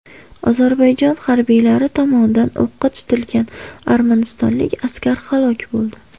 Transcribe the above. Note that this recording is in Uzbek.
Ozarbayjon harbiylari tomonidan o‘qqa tutilgan armanistonlik askar halok bo‘ldi.